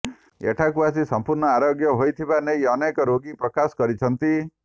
ଏଠାକୁ ଆସି ସମ୍ପୂର୍ଣ୍ଣ ଆରୋଗ୍ୟ ହୋଇଥିବା ନେଇ ଅନେକ ରୋଗୀ ପ୍ରକାଶ କରିଛନ୍ତି